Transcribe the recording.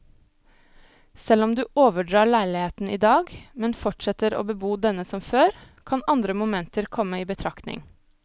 Selv om du overdrar leiligheten i dag, men fortsetter å bebo denne som før, kan andre momenter komme i betraktning.